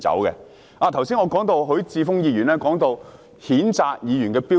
我剛才提及許智峯議員談到譴責議員的標準。